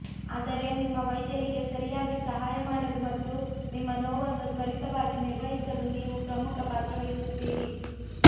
ಆದರೆ ನಿಮ್ಮ ವೈದ್ಯರಿಗೆ ಸರಿಯಾಗಿ ಸಹಾಯ ಮಾಡಲು ಮತ್ತು ನಿಮ್ಮ ನೋವನ್ನು ತ್ವರಿತವಾಗಿ ನಿರ್ವಹಿಸಲು ನೀವು ಪ್ರಮುಖ ಪಾತ್ರವಹಿಸುತ್ತೀರಿ